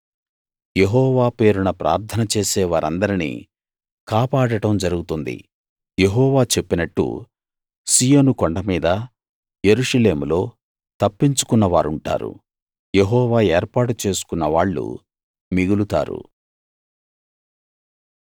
యెహోవా పేరున ప్రార్థనచేసే వారందరినీ కాపాడడం జరుగుతుంది యెహోవా చెప్పినట్టు సీయోను కొండమీద యెరూషలేములో తప్పించుకున్నవారుంటారు యెహోవా ఏర్పాటు చేసుకున్నవాళ్ళు మిగులుతారు